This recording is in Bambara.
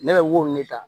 Ne bɛ wo ne ta